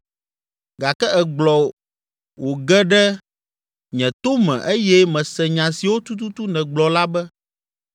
“Gake ègblɔ wòge ɖe nye to me eye mese nya siwo tututu nègblɔ la be,